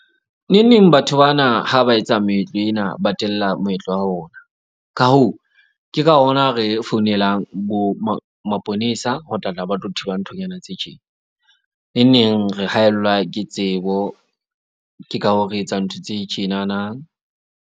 Neng neng batho bana ha ba etsa meetlo ena, ba tella moetlo wa rona. Ka hoo, ke ka hona re founelang bo maponesa ho tlatla, ba tlo thiba nthonyana tse tjena. Neng neng re haellwa ke tsebo, ke ka hoo, re etsang ntho tse tjenana.